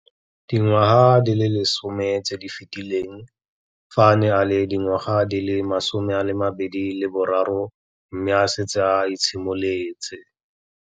Dingwaga di le 10 tse di fetileng, fa a ne a le dingwaga di le 23 mme a setse a itshimoletse.